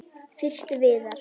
Fyrst Viðar.